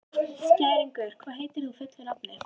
Skæringur, hvað heitir þú fullu nafni?